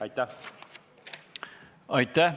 Aitäh!